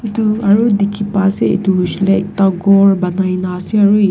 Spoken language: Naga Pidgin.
etu aru dekhi pa ase etu hoishile ekta gour bonai kina ase aru--